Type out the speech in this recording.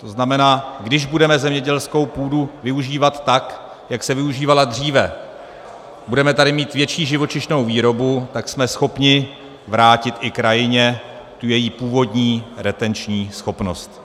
To znamená, když budeme zemědělskou půdu využívat tak, jak se využívala dříve, budeme tady mít větší živočišnou výrobu, tak jsme schopni vrátit i krajině tu její původní retenční schopnost.